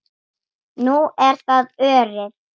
Nú er það Örið.